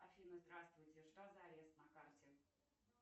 афина здравствуйте что за арест на карте